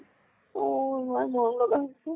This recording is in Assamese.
অ ইমান মৰম লগা হৈছে।